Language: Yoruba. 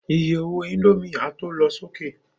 Iye owó indomie a tó lọ sókè